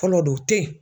Fɔlɔ don te ye